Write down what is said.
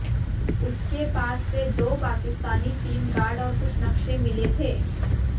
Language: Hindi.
उसके पास से दो पाकिस्तानी सिम कार्ड और कुछ नक्शे मिले थे